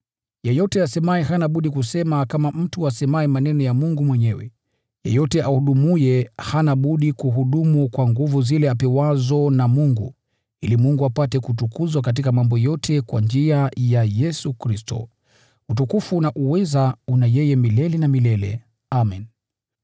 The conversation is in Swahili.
Yeyote asemaye hana budi kusema kama mtu asemaye maneno ya Mungu mwenyewe. Yeyote ahudumuye hana budi kuhudumu kwa nguvu zile anazopewa na Mungu, ili Mungu apate kutukuzwa katika mambo yote kwa njia ya Yesu Kristo. Utukufu na uweza una yeye milele na milele. Amen.